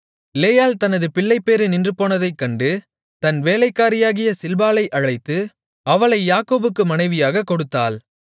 லேயாள் தனது பிள்ளைபேறு நின்றுபோனதைக் கண்டு தன் வேலைக்காரியாகிய சில்பாளை அழைத்து அவளை யாக்கோபுக்கு மனைவியாகக் கொடுத்தாள்